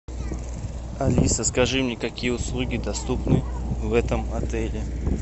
алиса скажи мне какие услуги доступны в этом отеле